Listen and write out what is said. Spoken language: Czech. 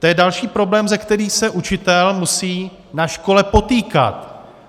To je další problém, se kterým se učitel musí na škole potýkat.